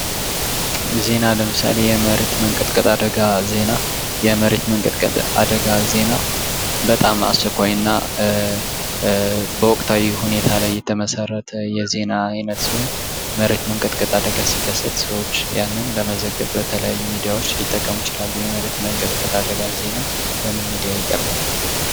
ዜና ለምሳሌ የመሬት መንቀጥቀጥ አደጋ ዜና በጣም አስቸኳይና በወቅታዊ ሁኔታ ላይ የተመሰረተ የዜና አይነት ሲሆን የመሬት መንቀጥቀጥ አደጋ ሲ፥ ከሰት ሰዎች ያንን ለመዘገብ የተለያዩ ሚዲያዎች ይጠቀሙ ይችላሉ። የመሬት መንቀጥቀጥ አደጋ በምን ሚዲያዎች ይቀርባል?